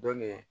Dɔn ne